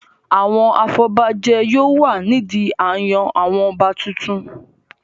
Àwọn afọbajẹ yóò wà nídi a n yan àwọn ọba tuntun